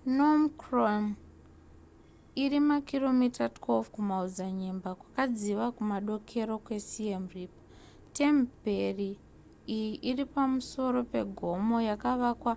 phnom krom iri makiromita 12 kumaodzanyema kwakadziva kumadokero kwesiem reap temperi iyi iri pamusoro pegomo yakavakwa